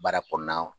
Baara kɔnɔna na